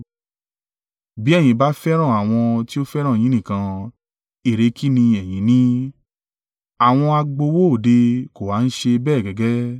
Bí ẹ̀yin bá fẹ́ràn àwọn tí ó fẹ́ràn yín nìkan, èrè kí ni ẹ̀yin ní? Àwọn agbowó òde kò ha ń ṣe bẹ́ẹ̀ gẹ́gẹ́?